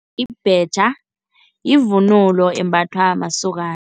Ibhetjha yivunulo embathwa masokana.